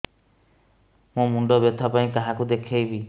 ମୋର ମୁଣ୍ଡ ବ୍ୟଥା ପାଇଁ କାହାକୁ ଦେଖେଇବି